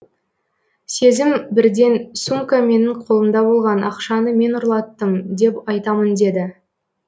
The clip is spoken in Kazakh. сезім бірден сумка менің қолымда болған ақшаны мен ұрлаттым деп айтамын деді